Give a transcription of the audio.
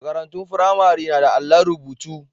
Marantun firamare na da allon rubutu.